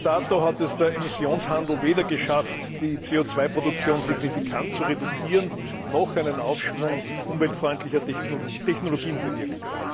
Bis dato hat es der Emissionshandel weder geschafft, die CO Produktion signifikant zu reduzieren, noch einen Aufschwung umweltfreundlicher Technologien bewirkt.